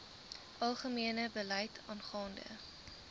algemene beleid aangaande